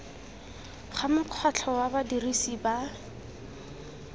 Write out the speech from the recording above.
ga mokgatlho wa badirisi ba